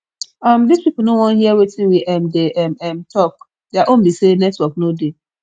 um this people no wan hear wetin we um dey um um talk their own be say network no dey